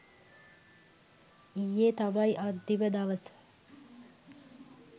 ඊයෙ තමයි අන්තිම දවස